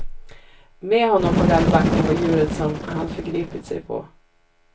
Med honom på galgbacken var djuret som han förgripit sig på.